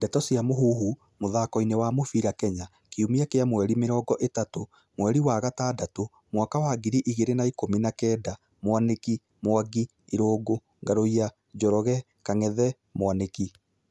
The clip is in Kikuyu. Ndeto cia Mũhuhu, mũthakoini wa mũbĩra Kenya, Kiumia kia mweri mirongo ĩtatũ ,mweri wa gatandatũ, mwaka wa ngiri igĩrĩ na ikumi na kenda:Mwaniki, Mwangi, Irungu, Ngaruiya, Njoroge, Kangethe, Mwaniki